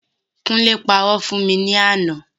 Kúnlé parọ́ fún mi ní àná.